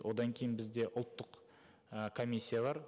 одан кейін бізде ұлттық і комиссия бар